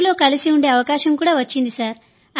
జమ్మూలో కలిసి ఉండే అవకాశం వచ్చింది